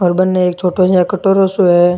और बनने एक छोटा सा कटोरो सो है।